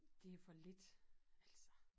Det for lidt altså